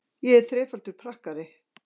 Ég er þrefaldur pakkari.